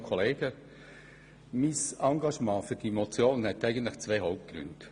Mein Engagement für diese Motion hat zwei Hauptgründe.